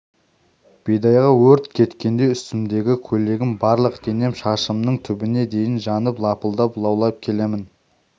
бидайға өрт кеткендей үстімдегі көйлегім барлық денем шашымның түбіне дейін жанып лапылдап лаулап келемін